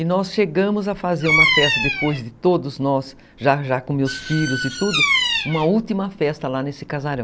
E nós chegamos a fazer uma festa, depois de todos nós, já com meus filhos e tudo, uma última festa lá nesse casarão.